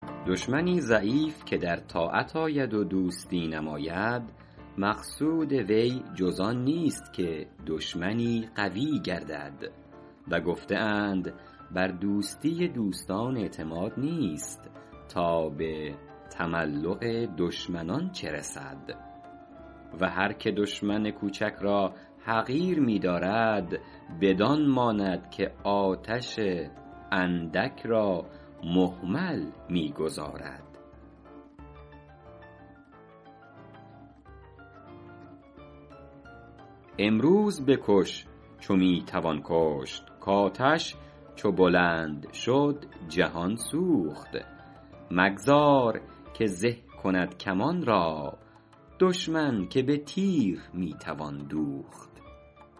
دشمنی ضعیف که در طاعت آید و دوستی نماید مقصود وی جز آن نیست که دشمنی قوی گردد و گفته اند بر دوستی دوستان اعتماد نیست تا به تملق دشمنان چه رسد و هر که دشمن کوچک را حقیر می دارد بدان ماند که آتش اندک را مهمل می گذارد امروز بکش چو می توان کشت کآتش چو بلند شد جهان سوخت مگذار که زه کند کمان را دشمن که به تیر می توان دوخت